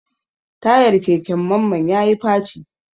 Tayar keken Mamman ya yi faci.